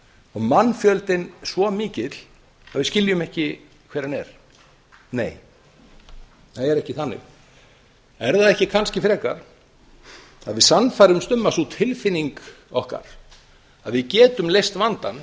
og mannfjöldinn svo mikill að við skiljum ekki hver hann er nei það er ekki þannig er það ekki kannski frekar að við sannfærumst um að sú tilfinning okkar að við getum leyst vandann